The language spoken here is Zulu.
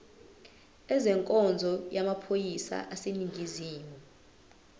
ezenkonzo yamaphoyisa aseningizimu